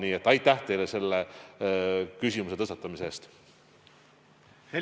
Nii et aitäh teile selle küsimuse tõstatamise eest!